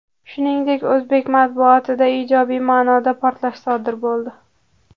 Shuningdek, o‘zbek matbuotida ijobiy ma’noda portlash sodir bo‘ldi.